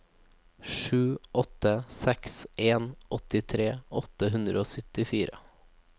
sju åtte seks en åttitre åtte hundre og syttifire